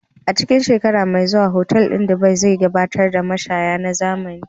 A cikin shekara mai zuwa, otal ɗin Dubai zai gabatar da mashaya na zamani.